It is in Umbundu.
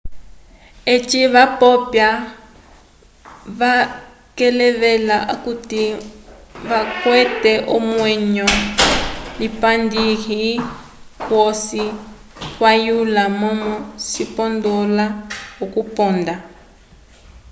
eci vapopya vakevelela akuti kavakwete omwenyo lipandikihi kwosi kwayula momó cipondola okuponda